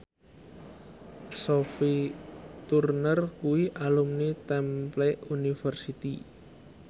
Sophie Turner kuwi alumni Temple University